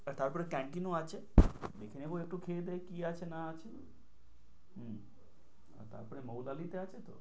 তারপরে canteen ও আছে দেখে নেবো একটু খেয়ে দেয়ে কি আছে না আছে হম তারপরে মৌলালী তে আছে তো?